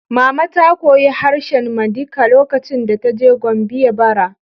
Mama ta koyi harshen Mandinka lokacin da ta je Gambia, bara.